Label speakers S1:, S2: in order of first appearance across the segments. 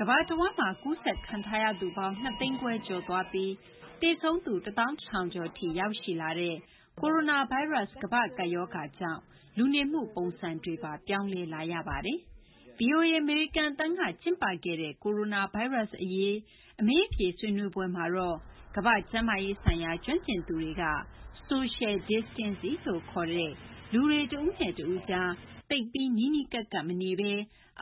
S1: ကမ္ဘာတဝန်းမှာ ကိုရိုနာဗိုင်းရပ်စ် ကူးစက်ခံထားရသူပေါင်း ၃၀၀,၀၀၀ ကျော်သွားပြီး သေဆုံးသူ ၁၃,၀၀၀ ကျော်ထိ ရောက်ရှိလာတာနဲ့ အတူပဲ ကိုရိုနာဗိုင်းရပ်စ် ကမ္ဘာ့ကပ်ရောဂါကြောင့် လူနေမှု ပုံစံတွေပါ ပြောင်းလဲလာရပါတယ်။ ဗွီအိုအေ အမေရိကန် အသံက ကျင်းပခဲ့တဲ့ ကိုရိုနာဗိုင်းရပ်စ်အရေး အမေးအဖြေ ဆွေးနွေးပွဲမှာတော့ ကမ္ဘာ့ကျန်းမာရေးဆိုင်ရာ ကျွမ်းကျင်သူတွေက Social Distancing လို့ ခေါ်တဲ့ လူတွေ တဦးနဲ့ တဦးကြား သိပ်ပြီး နီးနီးကပ်ကပ် မနေဘဲ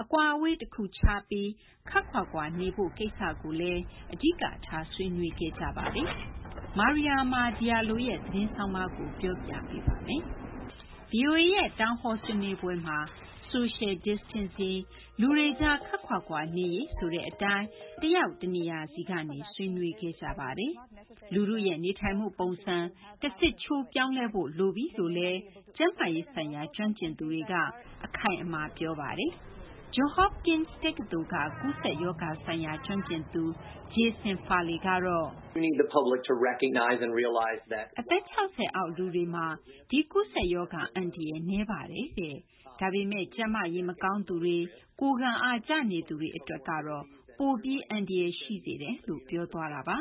S1: အကွာအဝေး တခုခြားပြီး ခပ်ခွာခွာ နေဖို့ ကိစ္စကိုလည်း အဓိကထား ဆွေးနွေးခဲ့ကြပါတယ်။ Mariama Diallo ရဲ့ သတင်းဆောင်းပါးကို မသိင်္ဂ ီထိုက်က တင်ပြ ပေးထားပါတယ်။ ဗွီအိုအေရဲ့ Town Hall မှာလည်း Social Distancing - လူတွေကြား ခပ်ခွာခွာ နေရေးဆိုတဲ့ အတိုင်း တယောက် တနေရာစီကနေ ဆွေးနွေးခဲ့ကြပါတယ်။ လူထုရဲ့ နေထိုင်မှု ပုံစံ တဆစ်ချိုး ပြောင်းလဲဖို့ လိုပြီလို့လည်း ကျန်းမာရေးဆိုင်ရာ ကျွမ်းကျင်သူတွေက အခိုင်အမာ ပြောပါတယ်။ Johns Hopkins တက္ကသိုလ်က ကူးစက်ရောဂါဆိုင်ရာ ကျွမ်းကျင်သူ Jason Farley ကတော့ အသက် ၆၀ အောက် လူတွေမှာ ဒီ ကူးစက်ရောဂါ အန္တရာယ် နည်းပါတယ်တဲ့ ဒါပေမယ့် ကျန်းမာရေး မကောင်းသူတွေ၊ ကိုယ်ခံအား ကျနေသူတွေ အတွက်တော့ ပိုပြီး အန္တရာယ် ရှိစေတယ်လို့ ပြောသွားတာပါ။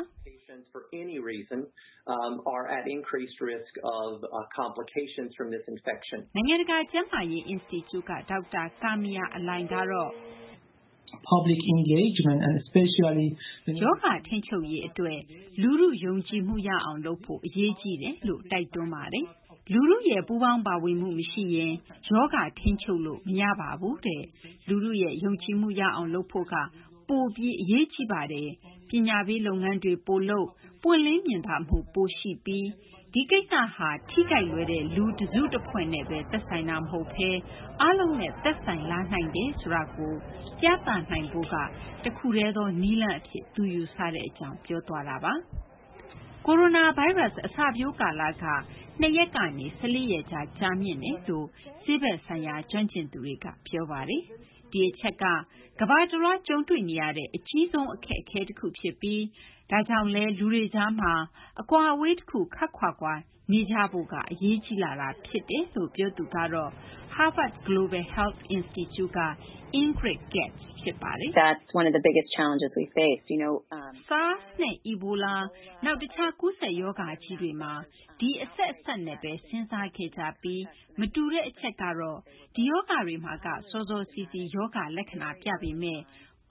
S1: နိုင်ငံတကာ ကျန်းမာရေး အင်စတီကျူက ဒေါက်တာ Kamiar Alaei ကတော့ ရောဂါထိန်းချုပ်ရေး အတွက် လူထု ယုံကြည်မှုရအောင်လုပ်ဖို့ အရေးကြီးတယ်လို့ တိုက်တွန်းပါတယ်။ လူထုရဲ့ ပူးပေါင်းပါဝင်မှု မရှိရင် ရောဂါ ထိန်းချုပ်လို့ မရပါဘူး။ လူထုရဲ့ ယုံကြည်မှု ရအောင် လုပ်ဖို့က ပိုပြီး အရေးကြီးပါတယ်။ ပညာပေး လုပ်ငန်းတွေ ပိုလုပ်၊ ပွင့်လင်းမြင်သာမှု ပိုပြီး ရှိဖို့နဲ့ ဒီကိစ္စဟာ ထိခိုက်လွယ်တဲ့ လူတစု တဖွဲ့နဲ့ပဲ သက်ဆိုင်တာ မဟုတ်ဘဲ အားလုံးနဲ့ သက်ဆိုင်လာနိုင်တယ်ဆိုတာကို ပြသနိုင်ဖို့က တခုတည်းသော နည်းလမ်းအဖြစ် ယူဆကြောင်း ပြောသွားတာပါ။ ကိုရိုနာဗိုင်းရပ်စ် အစပျိုးကာလက ၂ ရက်ကနေ ၁၄ ရက်ကြား ကြာမြင့်တယ်လို့ ဆေးဘက်ဆိုင်ရာ ကျွမ်းကျင်သူတွေက ပြောဆိုထားတာပါ။ ဒီအချက်က ကမ္ဘာတလွှား ကြုံတွေ့နေရတဲ့ အကြီးဆုံး အခက်အခဲ တခုဖြစ်ပြီး ဒါကြောင့်လည်း လူတွေကြားမှာ အကွာအဝေး တခု ခပ်ခွာခွာ နေဖို့က အရေးကြီးလာတာ ဖြစ်တယ်လို့ ပြောသူကတော့ Harvard Global Health Institute က Ingrid Katz ဖြစ်ပါတယ်။ SARS နဲ့ Ebola - နောက် တခြား ကူးစက် ရောဂါကြီးတွေမှာ ဒီအဆက်အစပ်နဲ့ပဲ စဉ်းစားခဲ့ကြပြီး မတူတဲ့ အချက်ကတော့ ဒီ ရောဂါတွေမှာက စောစောစီးစီး ရောဂါလက္ခဏာပြပေမဲ့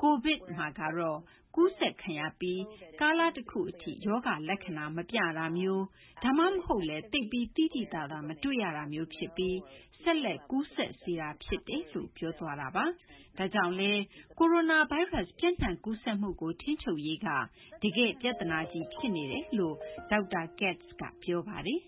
S1: COVID ကတော့ ကူးစက်ခံရပြီး ကာလတခု အထိ ရောဂါလက္ခဏာ မပြတာမျိုး ဒါမှမဟုတ်လည်း သိပ်ပြီး သိသိသာသာ မတွေ့ရတာမျိုး ဖြစ်ပြီး ဆက်လက် ကူးစက်စေတာ ဖြစ်တယ်လို့ ပြောသွားတာပါ။ ဒါကြောင့်လည်း ကိုရိုနာဗိုင်းရပ်စ် ပျံ့နှံ့ကူးစက်မှုကို ထိန်းချုပ်ရေးက တကယ့် ပြဿနာကြီး ဖြစ်နေတယ်လို့လည်း ဒေါက်တာ Katz က ပြောပါတယ်